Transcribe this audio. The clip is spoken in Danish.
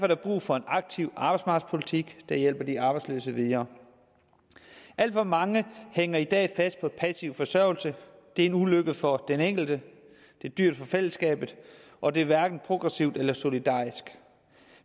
der brug for en aktiv arbejdsmarkedspolitik der hjælper de arbejdsløse videre alt for mange hænger i dag fast i passiv forsørgelse det er en ulykke for den enkelte det er dyrt for fællesskabet og det er hverken progressivt eller solidarisk